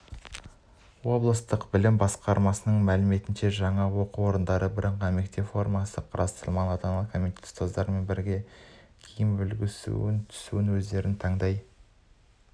облыстық білім басқармасының мәліметінше жаңа оқу жылында бірыңғай мектеп формасы қарастырылмаған ата-аналар комитеті ұстаздармен бірге киімнің үлгісі мен түсін өздері таңдай